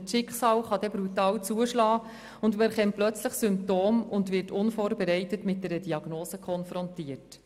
Oder das Schicksal kann brutal zuschlagen und man erkennt plötzlich Symptome und wird unvorbereitet mit einer Diagnose konfrontiert.